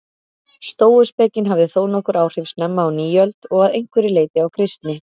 Stóuspekin hafði þónokkur áhrif snemma á nýöld og að einhverju leyti á kristni.